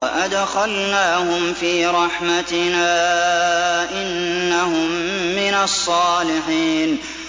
وَأَدْخَلْنَاهُمْ فِي رَحْمَتِنَا ۖ إِنَّهُم مِّنَ الصَّالِحِينَ